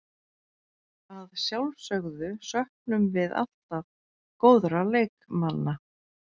Að sjálfsögðu söknum við alltaf góðra leikmanna.